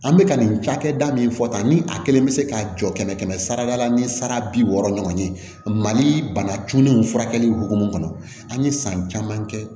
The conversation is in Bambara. An bɛ ka nin cakɛda min fɔ tan ni a kelen bɛ se ka jɔ kɛmɛ kɛmɛ sara la ni sara bi wɔɔrɔ ɲɔgɔn ye mali bana juguni furakɛli hukumu kɔnɔ an ye san caman kɛ